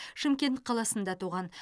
шымкент қаласында туған